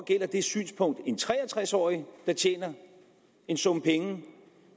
det synspunkt når en tre og tres årig tjener en sum penge